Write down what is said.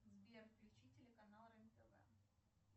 сбер включи телеканал рен тв